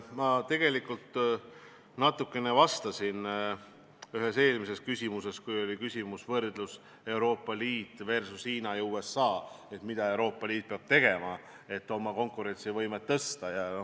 Ma tegelikult natukene vastasin sellele, kui oli küsimus võrdluse kohta Euroopa Liit versus Hiina ja USA, kui küsiti, mida Euroopa Liit peab tegema, et oma konkurentsivõimet parandada.